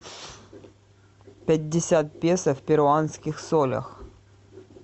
пятьдесят песо в перуанских солях